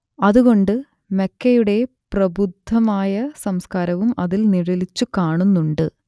അത് കൊണ്ട് മക്കയുടെ പ്രബുദ്ധമായ സംസ്കാരവും അതിൽ നിഴലിച്ചു കാണുന്നുണ്ട്